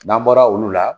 N'an bɔra olu la